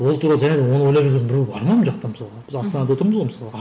ол туралы және оны ойлап жүрген біреу бар ма мына жақта мысалға біз астанада отырмыз ғой мысалға